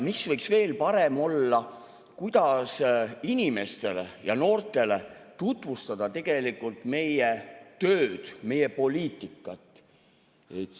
Mis võiks veel parem olla, kuidas inimestele ja noortele tutvustada meie tööd, meie poliitikat?